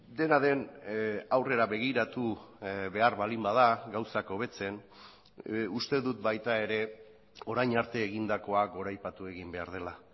dena den aurrera begiratu behar baldin bada gauzak hobetzen uste dut baita ere orain arte egindakoa goraipatu egin behar dela